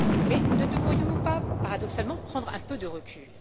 Mais ne devrions nous pas, paradoxalement, prendre un peu de recul?